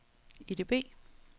EDB